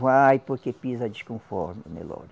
Vai, porque pisa desconforme, o Nelore.